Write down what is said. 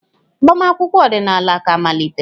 Agbamakwụkwọ ọdịnala ka malitere.